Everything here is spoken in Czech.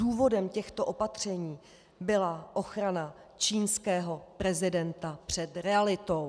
Důvodem těchto opatření byla ochrana čínského prezidenta před realitou.